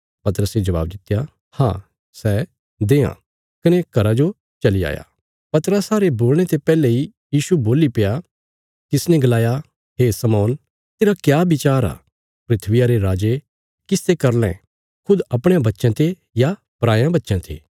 पतरसे जबाब दित्या हाँ सै देआं कने घरा जो चली आया पतरसा रे बोलणे ते पैहले इ यीशु बोल्लीप्या तिसने गलाया हे शमौन तेरा क्या विचार आ धरतिया रे राजे किस ते कर लैं खुद अपणयां बच्चयां ते या पराये बच्चयां ते